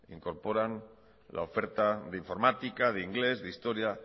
incorporan la oferta de informática de inglés de historia